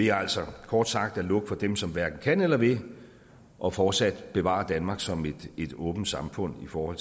er altså kort sagt at lukke for dem som hverken kan eller vil og fortsat bevare danmark som et åbent samfund for